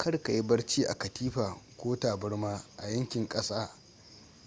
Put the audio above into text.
karka yi barci a katifa ko taburma a yankin ƙasa